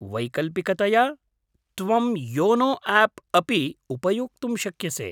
वैकल्पिकतया, त्वं YONO app अपि उपयोक्तुं शक्यसे।